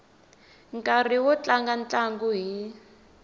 nkarhi wo tlanga ntlangu hi